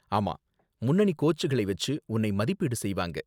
ஆமா, முன்னணி கோச்களை வச்சு உன்னை மதிப்பீடு செய்வாங்க.